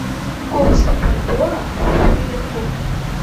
курс бальбоа к шиллингу